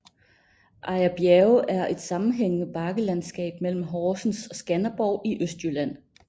Ejer Bjerge er et sammenhængende bakkelandskab mellem Horsens og Skanderborg i Østjylland